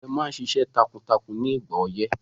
Àgbẹ̀ máa ṣiṣẹ́ takuntakun ní ìgbà ọyẹ́